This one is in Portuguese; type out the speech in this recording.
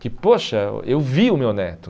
Que, poxa, eu vi o meu neto.